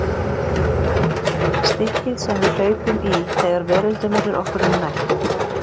Stikkið sem við hlaupum í þegar veröldin verður okkur um megn.